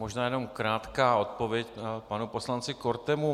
Možná jenom krátká odpověď panu poslanci Kortemu.